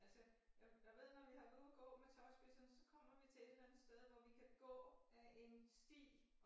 Altså jeg jeg ved når vi har været ude at gå med tåspidserne så kommer vi til et eller andet sted hvor vi kan gå af en sti